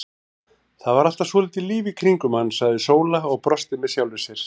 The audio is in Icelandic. Það var alltaf svolítið líf í kringum hann, sagði Sóla og brosti með sjálfri sér.